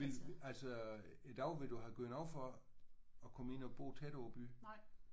Ville altså i dag ville du have givet noget for at komme ind og bo tættere på byen?